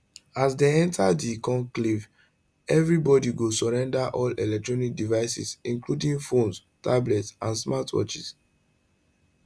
as dem enta di conclave evri body go surrender all electronic devices including phones tablets and smart watches